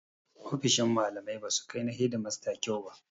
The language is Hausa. Ofisoshin malamai ba su kai na hedimasta kyau ba.